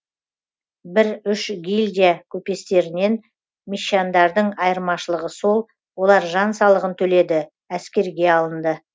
бір үш гильдия көпестерінен мещандардың айырмашылығы сол олар жан салығын төледі әскерге алынды